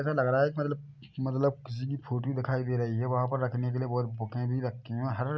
ऐसा लग रहा है मतलब- मतलब किसी की फोटो दिखाई दे रही है वहाँ पर रखने के लिए बहुत बुके भी रखी हुई है हर --